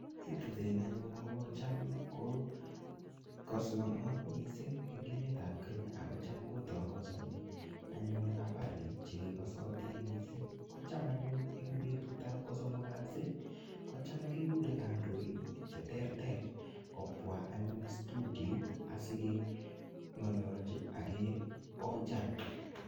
Citizen anyun kocham ko kasanat missing eng emetap Kenya, akocham kotangasani anyun habari chekasatin missing. Kocham anyun eng betutap ko somok kasi, kocham kekure kandoin che ter ter kobwaa anyun studioit, asikeng'alalchi akeojan.